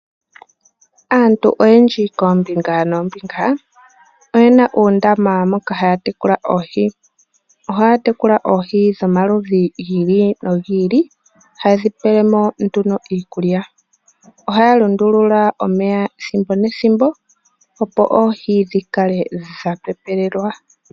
Aantu oyendji koombinga noombiga oyena uundama moka haga tekula ooshi ohaya tekula oohi dhomaludhi gii li no gi ili haye dhipelemo nduno iikulya ohaya lundulula omeya ethimbo nethimbo opo oohi dhikale dhapepelelwa